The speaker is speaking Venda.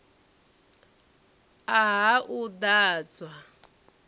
a ha u ḓ adzwa